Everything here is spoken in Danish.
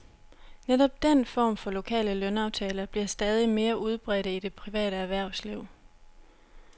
Netop den form for lokale lønaftaler bliver stadig mere udbredte i det private erhvervsliv.